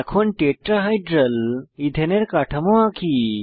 এখন টেট্রাহাইড্রাল ইথেনের কাঠামো আঁকি